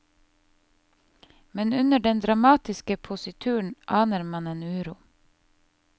Men under den dramatiske posituren aner man en uro.